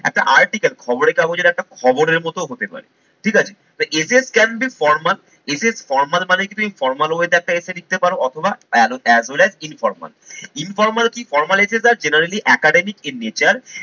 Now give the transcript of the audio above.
একটা article খবরের কাগজের একটা খবরের মতো হতে পারে ঠিকাছে। তা essays can be formal essays formal মানে কি তুমি formal way তে একটা essay লিখতে পারো অথবা এ as well as informal. Informal কি formalities are generally academic in nature